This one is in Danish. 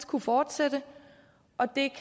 kunne fortsætte og det